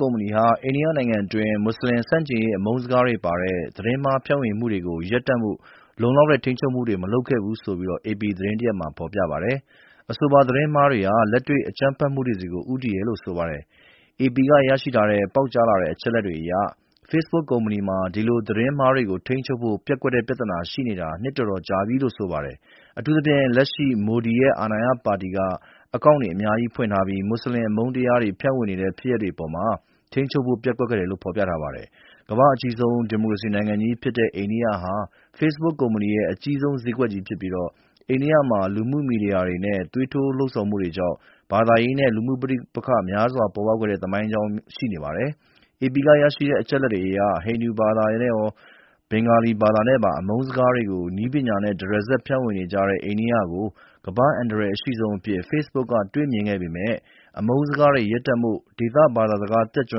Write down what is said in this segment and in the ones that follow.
ကုမ္ပဏီဟာ အိန္ဒိယနိုင်ငံအတွင်း မွတ်စလင်ဆန့်ကျင်ရေး အမုန်းစကားတွေပါတဲ့ သတင်းမှား ဖြန့်ဝေမှုတွေကို ရပ်တန့်ဖို့ လုံလောက်တဲ့ ထိန်းချုပ်မှုတွေ မလုပ်ခဲ့ဘူးလို့ အေပီသတင်းတရပ်မှာ ဖော်ပြပါတယ်။ အဆိုပါ သတင်းမှားတွေဟာ လက်တွေ့ အကြမ်းဖက်မှုတွေဆီ ဦးတည်တယ်လို့ ဆိုပါတယ်။ အေပီကရရှိထားတဲ့ ပေါက်ကြားလာတဲ့ အချက်အလက်တွေအရ ဖေ့စ်ဘုတ်ကုမ္ပဏီမှာ ဒီလို သတင်းမှားတွေကို ထိန်းချုပ်ဖို့ ပျက်ကွက်တဲ့ပြဿနာ ရှိနေတာ နှစ်တော်တော်ကြာပြီလို့ ဆိုပါတယ်။ အထူးသဖြင့် လက်ရှိ မိုဒီရဲ့ အာဏာရပါတီက အကောင့်တွေ အများကြီးဖွင့်ထားပြီး မွတ်စလင် အမုန်းတရားတွေ ဖြန့်ဝေနေတဲ့ ဖြစ်ရပ်တွေအပေါ် ထိန်းချုပ်ဖို့ ပျက်ကွက်ခဲ့တယ်လို့ ဖော်ပြပါတယ်။ ကမ္ဘာ့အကြီးဆုံး ဒီမိုကရေစီနိုင်ငံကြီးဖြစ်တဲ့ အိန္ဒိယဟာ ဖေ့စ်ဘုတ်ကုမ္ပဏီရဲ့ အကြီးဆုံးဈေးကွက်ကြီးဖြစ်ပြီး အိန္ဒိယနိုင်ငံမှာ လူမှုမီဒီယာတွေနဲ့ သွေးထိုးလှုံ့ဆော်မှုတွေကြောင့် ဘာသာရေးနဲ့ လူမှုပဋိပက္ခတွေ များစွာပေါ်ပေါက်ခဲ့တဲ့ သမိုင်းကြောင်းများစွာ ရှိနေပါတယ်။ အေပီကရရှိတဲ့ အချက်အလက်တွေအရ ဟင်ဒီဘာသာနဲ့ရော ဘင်္ဂါလီဘာသာနဲ့ပါ အမုန်းစကားတွေကို နည်းပညာနဲ့ တရစပ် ဖြန့်ဝေနေကြတဲ့ အိန္ဒိယကို ကမ္ဘာ့ အန္တရာယ်အရှိဆုံးအဖြစ် ဖေ့စ်ဘုတ်က တွေ့မြင်ပေမယ့်လို့ အမုန်းစကားတွေ ရပ်တန့်ဖို့ ဒေသဘာသာစကား တတ်ကျွ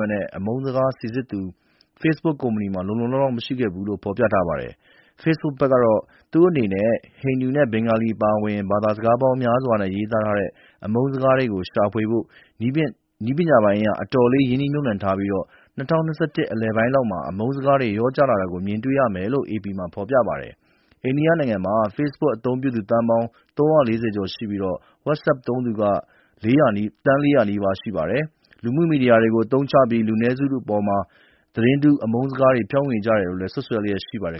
မ်းတဲ့ အမုန်းစကား စိစစ်သူတွေ ဖေ့စ်ဘုတ်ကုမ္ပဏီမှာ လုံလုံလောက်လောက် မရှိခဲ့ဘူးလို့ ဖော်ပြပါတယ်။ ဖေ့စ်ဘုတ်ဘက်ကတော့ သူ့အနေနဲ့ ဟင်ဒီနဲ့ ဘင်္ဂါလီ အပါအဝင် ဘာသာစကားပေါင်းများစွာနဲ့ ရေးသားကြတဲ့ အမုန်းစကားတွေကို ရှာဖွေဖို့ နည်းပညာပိုင်းအရ အတော်လေး ရင်းနှီးမြှုပ်နှံထားပြီး ၂၀၂၁ နှစ်လယ်ပိုင်းလောက်မှာ အမုန်းစကားတွေ လျော့ကျလာတာ မြင်တွေ့ရမယ်လို့ AP က ဖော်ပြပါတယ်။ အိန္ဒိယနိုင်ငံမှာ ဖေ့စ်ဘုတ်အသုံးပြုသူ သန်းပေါင်း ၃၄၀ ကျော်ရှိပြီး WhatsApp သုံးသူက သန်း ၄၀၀ နီးပါး ရှိပါတယ်။ လူမှုမီဒီယာတွေကို အသုံးချပြီး လူနည်းစုတွေအပေါ် သတင်းတုတွေ၊ အမုန်းစကားတွေ ဖြန့်ဝေကြတယ်လို့ စွပ်စွဲလျက်ရှိပါတယ်